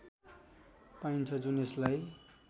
पाइन्छ जुन यसलाई